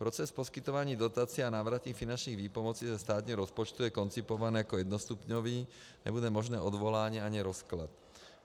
Proces poskytování dotací a návratných finančních výpomocí ze státního rozpočtu je koncipován jako jednostupňový, nebude možné odvolání ani rozklad.